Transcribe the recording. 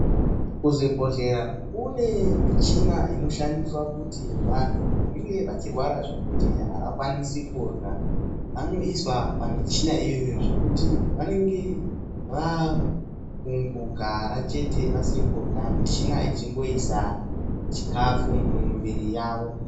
Kuzvibhehlera kune michina inoshande kuti vantu vanenge vechirwara zvekuti avakwanise kuryaa vanoiswe pamichina iyoyo zvekuti vanenge vakungogara chete vasingarye michina ichikwanisa kuise chikafu mumiviri yavo.